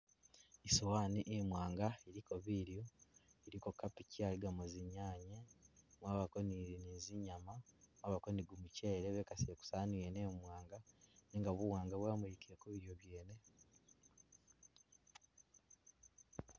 I'sowani imwaanga iliko bilyo, iliko kabichi aligamo zinyanya, kwabako ni zinyama, kwabako ni gumuchele bekasile Ku sawani wene mwaanga nenga buwaanga bwamulikile kubilyo byene